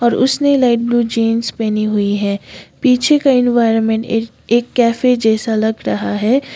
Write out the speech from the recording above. और उसने light blue jeans पहनी हुई है पीछे का एनवायरमेंट एक एक कैफे जैसा लग रहा है।